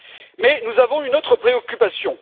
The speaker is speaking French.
Mais nous avons une autre préoccupation.